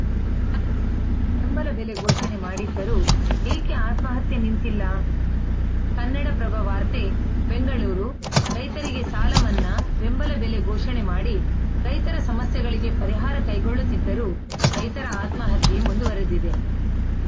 ಸಾಲಮನ್ನಾ ಬೆಂಬಲ ಬೆಲೆ ಘೋಷಣೆ ಮಾಡಿದ್ದರೂ ಏಕೆ ಆತ್ಮಹತ್ಯೆ ನಿಂತಿಲ್ಲ ಕನ್ನಡಪ್ರಭ ವಾರ್ತೆ ಬೆಂಗಳೂರು ರೈತರಿಗೆ ಸಾಲ ಮನ್ನಾ ಬೆಂಬಲ ಬೆಲೆ ಘೋಷಣೆ ಮಾಡಿ ರೈತರ ಸಮಸ್ಯೆಗಳಿಗೆ ಪರಿಹಾರ ಕೈಗೊಳ್ಳುತ್ತಿದ್ದರೂ ರೈತರ ಆತ್ಮಹತ್ಯೆ ಮುಂದುವರೆದಿದೆ